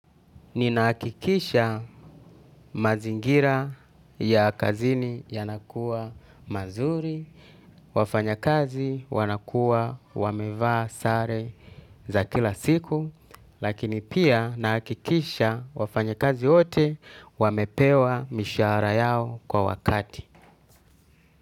Ninahakikisha mazingira ya kazini yanakua mazuri, wafanyakazi wanakua wamevaa sare za kila siku, lakini pia nahakikisha wafanyakazi wote wamepewa mishahara yao kwa wakati.